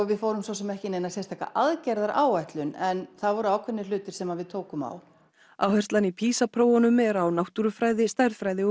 við fórum svo sem ekki í neina aðgerðaráætlun en það voru ákveðnir hlutir sem að við tókum á áherslan í PISA prófunum er á náttúrufræði stærðfræði og